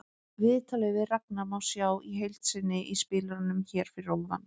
Viðtalið við Ragnar má sjá í heild sinni í spilaranum hér fyrir ofan.